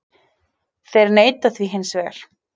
Þeir neita því hins vegar